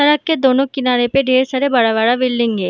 सड़क के दोनों किनारे में ढेर सारा बड़ा बड़ा बिल्डिंग है ।